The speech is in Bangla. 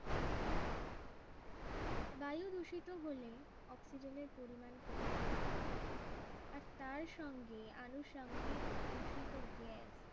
বায়ু দূষিত হলে অক্সিজেনের পরিমাণ কমে যায় আর তার সঙ্গে আনুষাঙ্গিক দূষিত গ্যাস